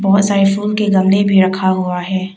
बहोत सारे फूल के गमले भी रखा हुआ है।